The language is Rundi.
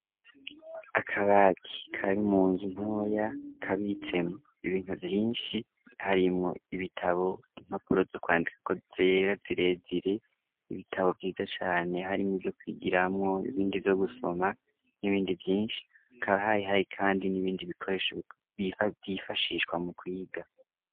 Akabati kari munzu ntoya, kabitsemwo ibintu vyinshi, harimwo ibitabo impapuro zo kwandikako zera zirezire, ibitabo vyiza cane harimwo ivyo kwigiramwo n'ibindi vyo gusoma, n'ibindi vyinshi, hakaba harimwo Kandi n'ibindi bikoresho vyifashishwa mu kwiga.